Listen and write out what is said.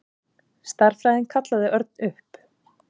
Stærðfræðin kallaði Örn upp.